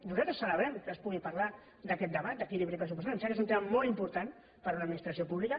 nosaltres celebrem que es pugui parlar d’aquest debat d’equilibri pressupostari em sembla que és un tema molt important per a una administració pública